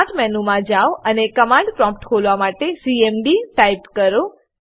start મેનુમાં જાવ અને કમાંડ પ્રોમ્પ્ટ ખોલવા માટે સીએમડી ટાઈપ કરો